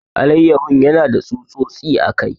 Alayyahon yana da tsutsotsi a kai.